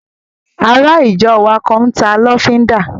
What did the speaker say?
Ará ìjọ wa kan n ta lọ́fíndà